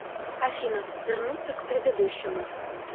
афина вернуться к предыдущему